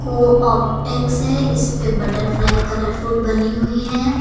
को ऑप्टिक्स है इस पे बटरफ्लाई कलरफुल बनी हुई है।